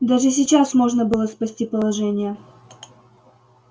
даже сейчас можно было спасти положение